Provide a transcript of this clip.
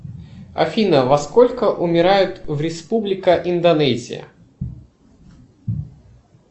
афина во сколько умирают в республика индонезия